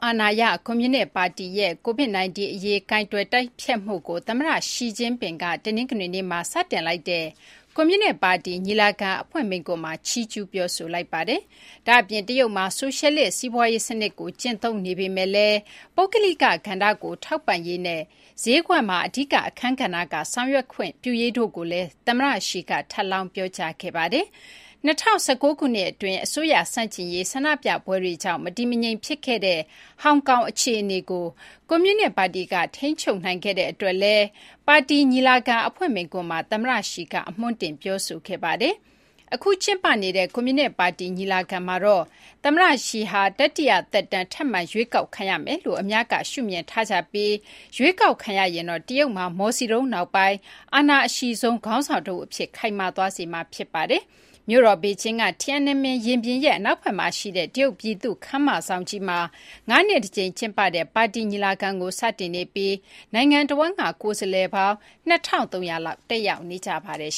အာဏာရ ကွန်မြူနစ်ပါတီရဲ့ Covid-19 အရေး ကိုင်တွယ်တိုက်ဖျက်မှုကို သမ္မတ Xi Jinping က တနင်္ဂနွေနေ့မှာ စတင်လိုက်တဲ့ ကွန်မြူနစ်ပါတီညီလာခံအဖွင့်မိန့်ခွန်းမှာ ချီးကျူးပြောဆိုလိုက်ပါတယ်။ ဒါ့အပြင် တရုတ်မှာ ဆိုရှယ်လစ် စီးပွါးရေးစနစ်ကို ကျင့်သုံးနေပေမယ့်လည်း ပုဂ္ဂလိကကဏ္ဍကို ထောက်ပံ့ရေးနဲ့ ဈေးကွက်မှာ အဓိကအခန်းကဏ္ဍက ဆောင်ရွက်ခွင့် ပြုရေးတို့ကိုလည်း သမ္မတ Xi က ထပ်လောင်း ပြောကြားခဲ့ပါတယ်။ ၂၀၁၉ ခုနှစ်အတွင်း အစိုးရဆန့်ကျင်ရေးဆန္ဒပြပွဲတွေကြောင့် မတည်မငြိမ်ဖြစ်ခဲ့တဲ့ ဟောင်ကောင်အခြေအနေကို ကွန်မြူနစ်ပါတီက ထိန်းချုပ်နိုင်ခဲ့တဲ့အတွက်လည်း ပါတီညီလာခံအဖွင့်မိန့်ခွန်းမှာ သမ္မတ Xi က အမွှွမ်းတင် ပြောဆိုခဲ့ပါတယ်။ အခု ကျင်းပနေတဲ့ ကွန်မြူနစ် ပါတီညီလာခံမှာတော့ သမ္မတ Xi ဟာ တတိယ သက်တမ်း ထပ်မံ ရွေးကောက်ခံရမယ်လို့ အများက ရှုမြင်ထားပြီး ရွေးကောက်ခံရရင်တော့ တရုတ်မှာ မော်စီတုန်း နောက်ပိုင်း အာဏာအရှိဆုံး ခေါင်းဆောင် တဦး အဖြစ် ခိုင်မာသွားစေမှာ ဖြစ်ပါတယ်။ မြို့တော် ဘေကျင်းက Tiananmen ရင်ပြင်ရဲ့ အနောက်ဘက်မှာ ရှိတဲ့ တရုတ် ပြည်သူ့ ခန်းမဆောင်ကြီးမှာ ၅ နှစ်တကြိမ်ကျင်းပတဲ့ ပါတီညီလာခံကို စတင်နေပြီး နိုင်ငံတဝန်းက ကိုယ်စားလှယ်ပေါင်း ၂,၃၀၀ လောက် တက်ရောက်ကြပါတယ်